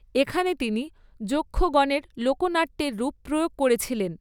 এখানে তিনি যক্ষগনের লোকনাট্যের রূপ প্রয়োগ করেছিলেন।